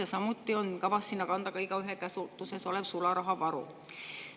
Ja samuti on kavas sinna kanda ka igaühe käsutuses olev sularahavaru.